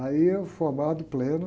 Aí eu formado, pleno.